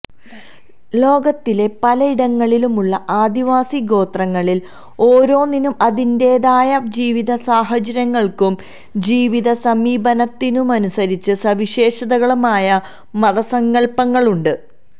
ലോകത്തിന്റെ പലയിടങ്ങളിലും ഉള്ള ആദിവാസി ഗോത്രങ്ങളിൽ ഓരോന്നിനും അതാതിന്റേതായ ജീവിതസാഹചര്യങ്ങള്ക്കും ജീവിതസമീപനത്തിനുമനുസരിച്ച് സവിശേഷമായ മതസങ്കല്പങ്ങളുണ്ട്